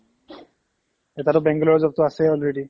এটাতো bank বিলাকৰ job তো আছেই already